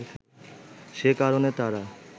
সে কারণে তারা